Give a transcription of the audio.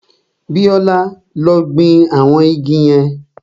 Bíọ́lá ló gbin àwọn igi yẹn